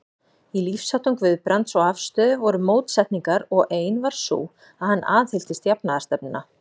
Í lífsháttum Guðbrands og afstöðu voru mótsetningar, og ein var sú, að hann aðhylltist jafnaðarstefnuna.